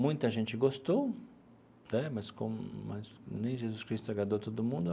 Muita gente gostou né, mas com mas nem Jesus Cristo agradou todo mundo.